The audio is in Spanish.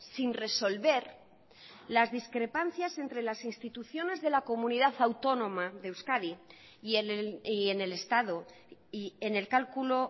sin resolver las discrepancias entre las instituciones de la comunidad autónoma de euskadi y en el estado y en el cálculo